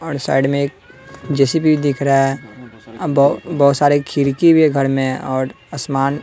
और साइड में एक जे_सी_बी दिख रहा अ बहो बहोत सारे खिड़की भी हैं घर में और असमान--